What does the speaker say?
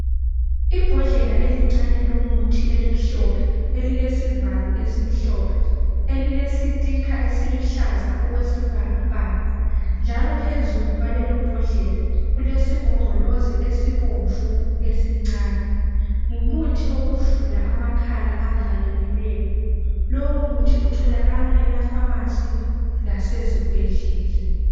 Ibhodlela elincane lomuthi elimhlophe, elilesivalo esimhlophe, elilesitikha esiluhlaza okwesibhakabhaka njalo phezulu kwalelobhodlela kulesigombolozi esibomvu esincane, ngumuthi wokuvula amakhala avalekileyo. Lowo muthi utholakala emafamasi lasezibhedlela.